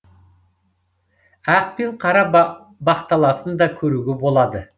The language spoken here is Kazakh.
ақ пен қара бақталасын да көруге болады